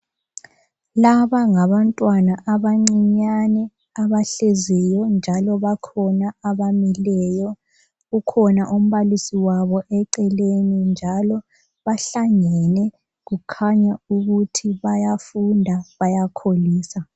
Laba ngabantwana abancinyane abahleziyo njalo bakhona abamileyo kukhona umbalisi wabo eceleni njalo bahlangene kukhanya ukuthi bayafunda bayakholisa.